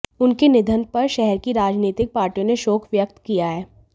उनके निधन पर शहर की राजनीतिक पार्टियों ने शोक व्यक्त किया है